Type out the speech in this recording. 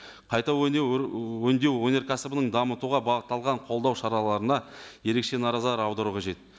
қайта өңдеу өнеркәсібінің дамытуға бағытталған қолдау шараларына ерекеше аудару қажет